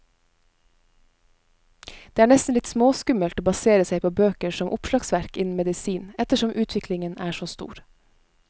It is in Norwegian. Det er nesten litt småskummelt å basere seg på bøker som oppslagsverk innen medisin, ettersom utviklingen er så stor.